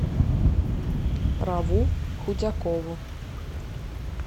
раву худякову